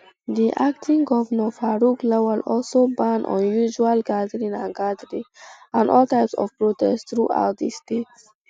di acting govnor faruk lawal also ban unusual um gathering and gathering and all types of protest throughout di state